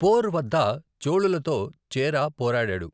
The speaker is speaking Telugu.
పోర్ వద్ద చోళులతో చేరా పోరాడారు.